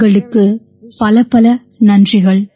உங்களுக்குப் பலப்பல நன்றிகள்